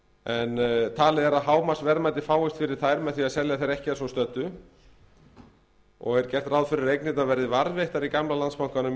en talið er að hámarksverðmæti fáist fyrir þær með því að selja þær ekki að svo stöddu er gert ráð fyrir að eignirnar verði varðveittar í gamla landsbankanum